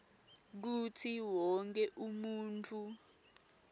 kutsi wonkhe umuntfu